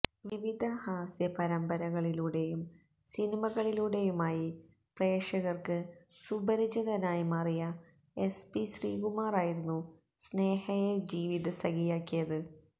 വിവിധ ഹാസ്യ പരമ്ബരകളിലൂടെയും സിനിമകളിലൂടെയുമായി പ്രേക്ഷകര്ക്ക് സുപരിചിതനായി മാറിയ എസ് പി ശ്രീകുമാറായിരുന്നു സ്നേഹയെ ജീവിതസഖിയാക്കിയത്